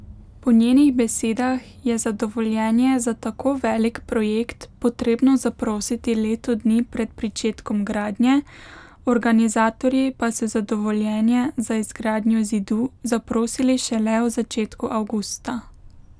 Po njenih besedah je za dovoljenje za tako velik projekt potrebno zaprositi leto dni pred pričetkom gradnje, organizatorji pa so za dovoljenje za izgradnjo zidu zaprosili šele v začetku avgusta.